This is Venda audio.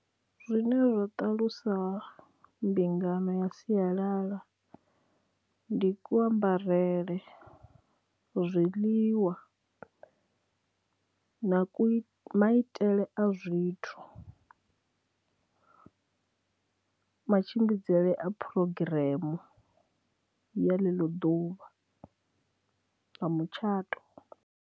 Zwine zwa ṱalusa mbingano ya sialala ndi ku ambarele, zwiḽiwa na ku i, maitele a zwithu, matshimbidzele a phurogireme ya ḽeḽo ḓuvha nga mutshato.